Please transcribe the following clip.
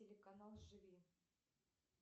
телеканал живи